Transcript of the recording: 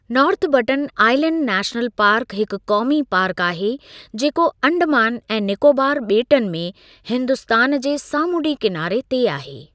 North Button Island National Park हिक क़ौमी park आहे जेको अंडमान ऐं नीकोबार ॿेटनि में हिन्दुस्तान जे सामूंडी किनारे ते आहे।